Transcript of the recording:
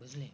বুজলি